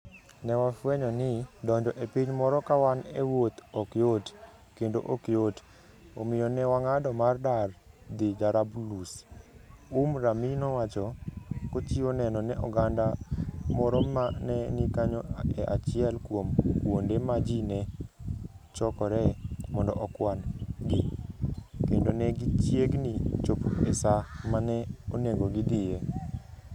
Ne wafwenyo ni, donjo e piny moro ka wan e wuoth ok yot, kendo ok yot, omiyo ne wang'ado mar dar dhi Jarablus, " Umm Rami nowacho, kochiwo neno ne oganda moro ma ne ni kanyo e achiel kuom kuonde ma ji ne chokoree mondo okwan - gi, kendo ne gichiegni chopo e sa ma ne onego gidhiye.